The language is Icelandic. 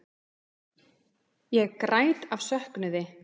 Ég græt af söknuði.